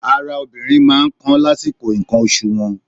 Ara obìnrin máa ń kan lásìkò ǹkan oṣù wọn.